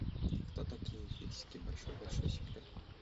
кто такие фиксики большой большой секрет